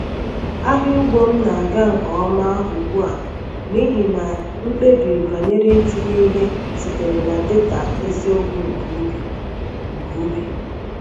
Ahịa ugbo m na-aga nke ọma ugbu a n’ihi na mkpebi banyere itinye ihe sitere na data eziokwu nke ubi. nke ubi.